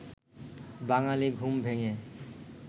বাঙালি ঘুম ভেঙে